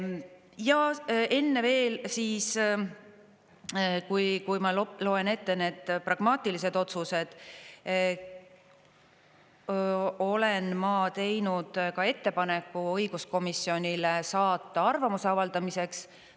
Ja enne veel siis, kui ma loen ette need pragmaatilised otsused, olen ma teinud ka ettepaneku õiguskomisjonile saata arvamuse avaldamiseks.